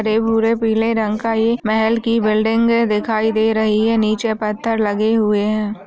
हरे भूरे पीले रंग का ये महल की बिल्डिंगे दिखाई दे रही है नीचे पत्थर लगे हुए हैं।